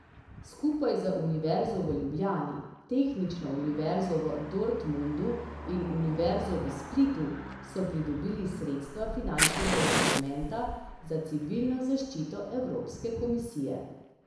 Skupaj z Univerzo v Ljubljani, Tehnično Univerzo v Dortmundu in Univerzo v Splitu so pridobili sredstva finančnega instrumenta za civilno zaščito Evropske komisije.